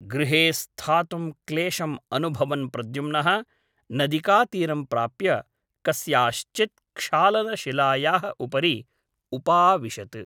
गृहे स्थातुं क्लेशम् अनुभवन् प्रद्युम्नः नदिकातीरं प्राप्य कस्याश्चित् क्षालन शिलायाः उपरि उपाविशत् ।